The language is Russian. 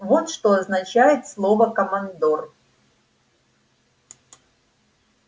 вот что означает слово командор